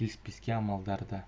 келіспеске амалдары да